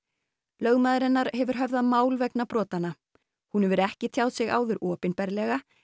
lögmaður hennar hefur höfðað mál vegna brotanna hún hefur ekki tjáð sig áður opinberlega